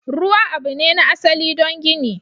Ruwa abu ne na asali don gini.